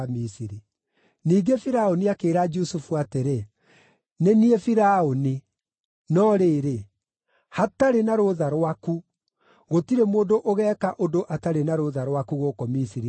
Ningĩ Firaũni akĩĩra Jusufu atĩrĩ, “Nĩ niĩ Firaũni, no rĩrĩ, hatarĩ na rũtha rwaku, gũtirĩ mũndũ ũgeeka ũndũ atarĩ na rũtha rwaku gũkũ Misiri guothe.”